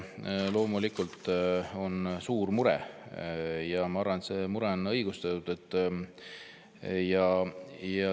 Loomulikult on mure suur ja ma arvan, et see mure on õigustatud.